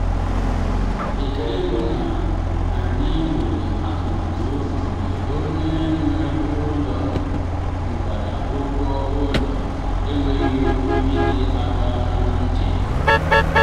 ekele m na anyị nwere atụmatụ mgbe onye nwe ụlọ mụbara ụgwọ ụlọ na-enweghị ịdọ aka ná ntị.